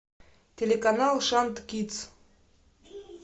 телеканал шант кидс